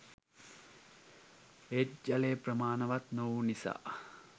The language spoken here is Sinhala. ඒත් ජලය ප්‍රමාණවත් නොවූ නිසා